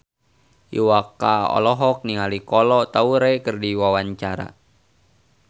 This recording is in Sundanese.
Iwa K olohok ningali Kolo Taure keur diwawancara